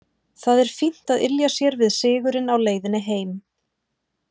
Það er fínt að ylja sér við sigurinn á leiðinni heim.